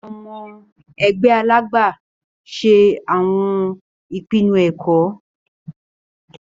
Awọn ọmọ ẹgbẹ Alàgbà ṣe awọn ìpinnu ẹkọ.